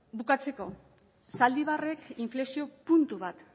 bukatzeko zaldibarrek inflexio puntu bat